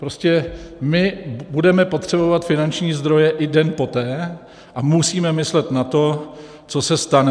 Prostě my budeme potřebovat finanční zdroje i den poté a musíme myslet na to, co se stane.